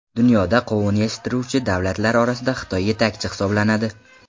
Dunyoda qovun yetishtiruvchi davlatlar orasida Xitoy yetakchi hisoblanadi.